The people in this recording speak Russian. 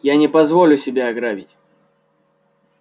я не позволю себя грабить